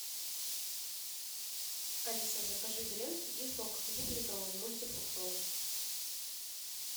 алиса закажи гренки и сок двухлитровый мультифруктовый